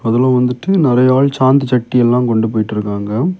அதுல வந்துட்டு நெறைய ஆள் சாந்து சட்டி எல்லா கொண்டு போயிட்ருக்காங்க.